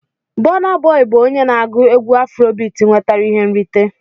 Bona Boi bụ onye na-agụ egwú Afrobiti nwetara ihe nrite.